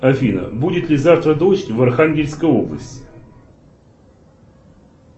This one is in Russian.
афина будет ли завтра дождь в архангельской области